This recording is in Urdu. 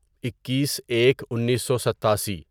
اکیس ایک انیسو ستاسی